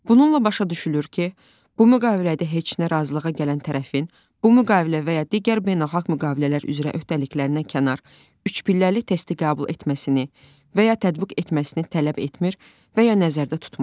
Bununla başa düşülür ki, bu müqavilədə heç nə razılığa gələn tərəfin, bu müqavilə və ya digər beynəlxalq müqavilələr üzrə öhdəliklərdən kənar, üç pilləli təsti qəbul etməsini və ya tətbiq etməsini tələb etmir və ya nəzərdə tutmur.